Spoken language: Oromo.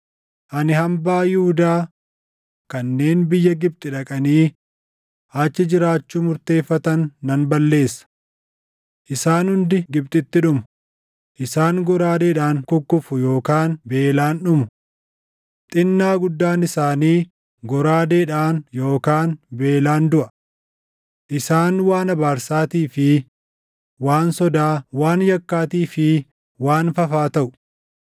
Ani hambaa Yihuudaa kanneen biyya Gibxi dhaqanii achi jiraachuu murteeffatan nan balleessa. Isaan hundi Gibxitti dhumu; isaan goraadeedhaan kukkufu yookaan beelaan dhumu. Xinnaa guddaan isaanii goraadeedhaan yookaan beelaan duʼa. Isaan waan abaarsaatii fi waan sodaa, waan yakkaatii fi waan fafaa taʼu.